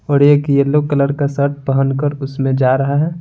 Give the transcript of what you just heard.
और एक yellow colour का शर्ट पहनकर उसमें जा रहा है।